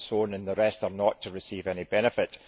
and the rest are not to receive any benefit.